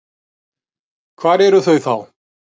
Hvar eru þau þá?